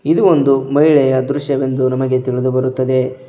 ಇದು ಒಂದು ಮಹಿಳೆಯ ದೃಶ್ಯವೊಂದು ನಮಗೆ ತಿಳಿದು ಬರುತ್ತದೆ.